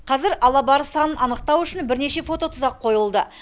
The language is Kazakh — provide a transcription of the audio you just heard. қазір алабарыс санын анықтау үшін бірнеше фототұзақ қойылды